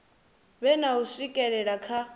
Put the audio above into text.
vhe na u swikelela kha